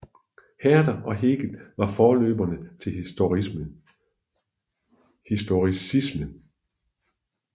Herder og Hegel var forløbere til historicisme